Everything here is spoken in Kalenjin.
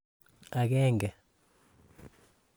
Agenge.